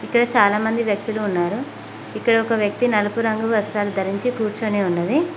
ఇక్కడ చాలామంది వ్యక్తులు ఉన్నారు ఇక్కడ ఒక వ్యక్తి నలుపు రంగు వస్తం ధరించి కూర్చొని ఉన్నది